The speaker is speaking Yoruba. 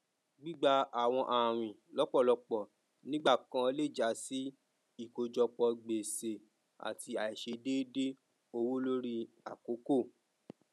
gbigba àwọn àwìn lọpọlọpọ nígbà kan lè ja sí ìkòjọpọ gbèsè àti àìṣedéédé owó lórí àkókò